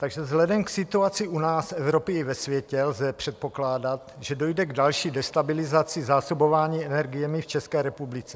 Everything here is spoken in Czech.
Takže vzhledem k situaci u nás, v Evropě i ve světě lze předpokládat, že dojde k další destabilizaci zásobování energiemi v České republice.